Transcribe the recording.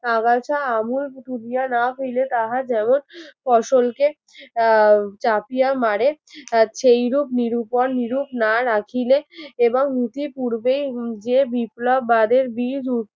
আগাছা আঙুল পুতিয়া না ফেললে তাহা যেমন ফসলকে চাপিয়া মারে আহ সেই রূপ নিরুপন নিরূপ না রাখিলে এবং নীতির পূর্বে উম যে বিপ্লব বাদের বীজ উহ